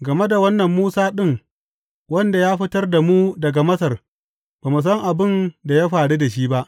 Game da wannan Musa ɗin wanda ya fitar da mu daga Masar, ba mu san abin da ya faru da shi ba!’